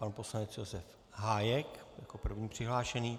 Pan poslanec Josef Hájek jako první přihlášený.